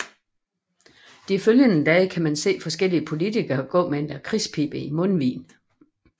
De følgende dage kan man se forskellige politikere gå med en lakridspibe i mundvigen